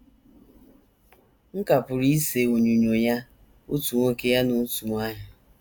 M ka pụrụ ise onyinyo ya otu nwoke ya na otu nwanyị.